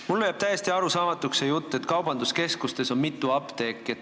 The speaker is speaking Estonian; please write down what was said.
Mulle jääb täiesti arusaamatuks see jutt, et kaubanduskeskustes on mitu apteeki.